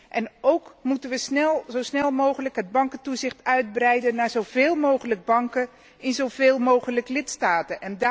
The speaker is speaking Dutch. En ook, moeten wij zo snel mogelijk het bankentoezicht uitbreiden naar zoveel mogelijk banken in zoveel mogelijk lidstaten?